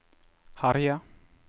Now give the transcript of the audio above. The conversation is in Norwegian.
herje